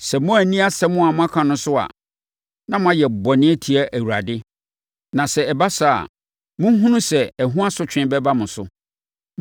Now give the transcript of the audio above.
“Sɛ moanni asɛm a moaka no so a, na moayɛ bɔne atia Awurade, na sɛ ɛba saa a, monhunu sɛ, ɛho asotwe bɛba mo so.